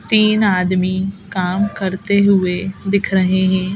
तीन आदमी काम करते हुए दिख रहे हैं।